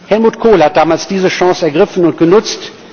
Helmut Kohl hat damals diese Chance ergriffen und genutzt.